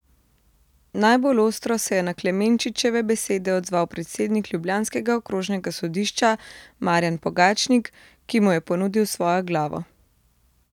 Najbolj ostro se je na Klemenčičeve besede odzval predsednik ljubljanskega okrožnega sodišča Marjan Pogačnik, ki mu je ponudil svojo glavo.